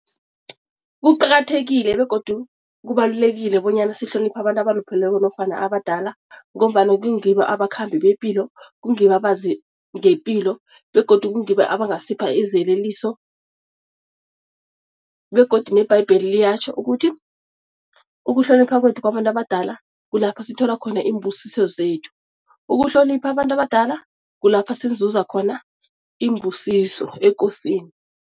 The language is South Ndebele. Kuqakathekile begodu kubalulekile bonyana sihloniphe abantu abalupheleko nofana abadala ngombana kungibo abakhambi bepilo, kungibo abazi ngepilo begodu kungibo abangasipha iziyeleliso begodu nebhayibheli liyatjho ukuthi, ukuhlonipha kwethu kwabantu abadala kulapha sithola khona iimbusiso zethu, ukuhlonipha abantu abadala kulapha sizuza khona iimbusiso ekosini.